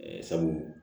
Ɛɛ sabu